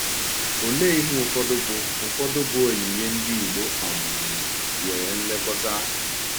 Ọ̀lee ihe ụfọdụ bụ ụfọdụ bụ onyinye ndị Igbo um nyere nlekọta?